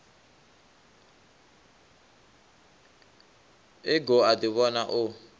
e goo a ḓivhona o